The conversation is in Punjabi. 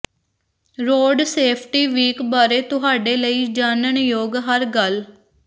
ਰੋਡ ਸੇਫ਼ਟੀ ਵੀਕ ਬਾਰੇ ਤੁਹਾਡੇ ਲਈ ਜਾਣਨਯੋਗ ਹਰ ਗੱਲ